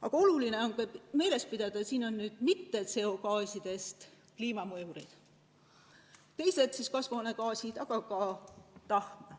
Aga oluline on meeles pidada, et kliimat ei mõjuta mitte ainult CO-gaasid, on ka teised kasvuhoonegaasid, samuti tahm.